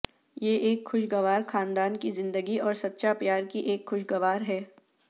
یہ ایک خوشگوار خاندان کی زندگی اور سچا پیار کی ایک خوشگوار ہے